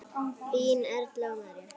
Þínar Erla og María.